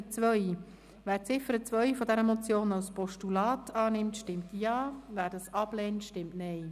Wer die Ziffer 2 dieser Motion als Postulat annimmt, stimmt Ja, wer dies ablehnt, stimmt Nein.